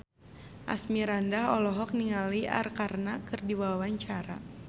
Asmirandah olohok ningali Arkarna keur diwawancara